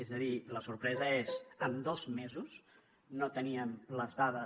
és a dir la sorpresa és en dos mesos no tenien les dades